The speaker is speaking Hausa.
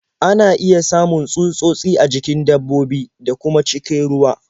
Ana iya samun tsutsotsi a jikin dabbobi, da kuma cikin ruwa.